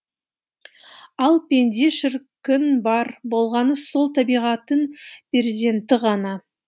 ал пенде шіркін бар болғаны сол табиғаттың перзенті ғана